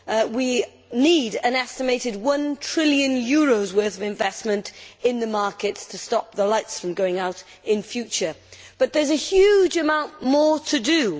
We need an estimated EUR 1 trillion worth of investment in the markets to stop the lights from going out in future. But there is a huge amount more to do.